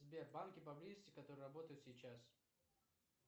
сбер банки по близости которые работают сейчас